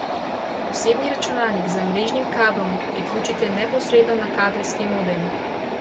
Osebni računalnik z mrežnim kablom priključite neposredno na kabelski modem.